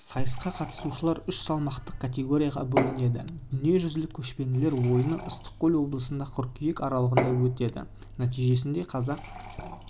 сайысқа қатынасушылар үш салмақтық категорияға бөлінеді дүниежүзілік көшпенділер ойыны ыстықкөл облысында қыркүйек аралығында өтеді нәтижесінде қазақ